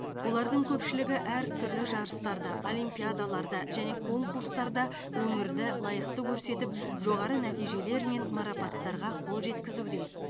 олардың көпшілігі әртүрлі жарыстарда олимпиадаларда және конкурстарда өңірді лайықты көрсетіп жоғары нәтижелер мен марапаттарға қол жеткізуде